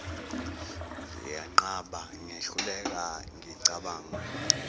ngiyenqaba ngehluleka ngicabanga